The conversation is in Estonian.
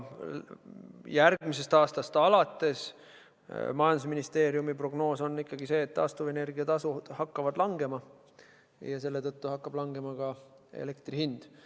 Majandusministeeriumi prognoos on ikkagi see, et järgmisest aastast alates hakkavad taastuvenergia tasud langema ja selle tõttu hakkab vähenema ka elektri hind.